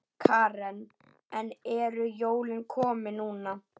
Karen: En eru jólin komin núna?